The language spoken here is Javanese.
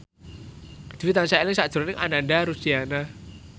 Dwi tansah eling sakjroning Ananda Rusdiana